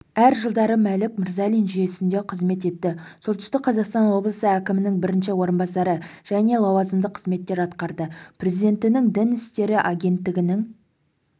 әр жылдары мәлік мырзалин жүйесінде қызмет етті солтүстік қазақстан облысы әкімінің бірінші орынбасары және лауазымды қызметтер атқарды президентінің дін істері агенттігінің